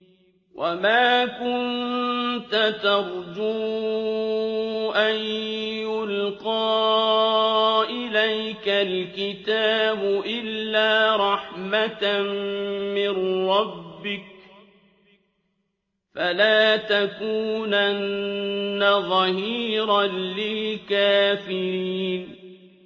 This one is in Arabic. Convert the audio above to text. وَمَا كُنتَ تَرْجُو أَن يُلْقَىٰ إِلَيْكَ الْكِتَابُ إِلَّا رَحْمَةً مِّن رَّبِّكَ ۖ فَلَا تَكُونَنَّ ظَهِيرًا لِّلْكَافِرِينَ